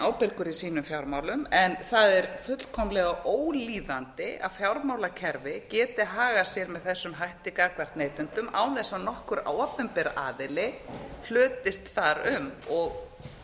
ábyrgur í sínum fjármálum en það er fullkomlega ólíðandi að fjármálakerfi geti hagað sér með þessum hætti gagnvart neytendum án þess að nokkur opinber aðili hlutist þar um og